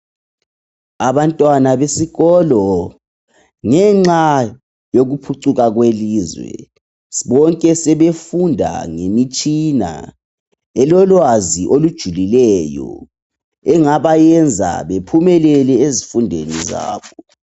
Abantwana besikolo ngenxa yokuphucuka kwelizwe bonke sebefunda ngemitshina elolwazi olujulileyo engabayenza bephumelele ezifundweni zabo.